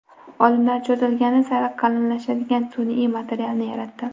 Olimlar cho‘zilgani sari qalinlashadigan sun’iy materialni yaratdi.